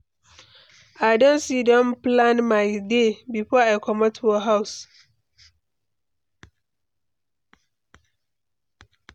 I don sidon plan my day before I comot for house.